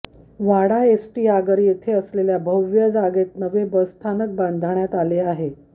वाडा ST आगार येथे असलेल्या भव्य जागेत नवे बस स्थानक बांधण्यात आले आहे